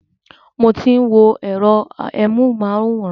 Mo ti ń wo ẹ̀rọ amúhùnmáwòrán.